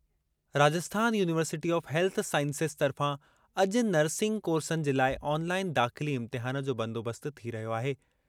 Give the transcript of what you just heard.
Rajasthan university of health sciences तर्फ़ां अॼु nursing कोर्सनि जे लाइ ऑनलाइन दाख़िली इम्तिहानु जो बंदोबस्त थी रहियो आहे।